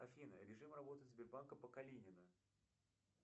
афина режим работы сбербанка по калинина